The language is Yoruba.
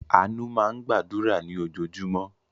Àánú máa ń gbàdúrà ní ojoojúmọ́.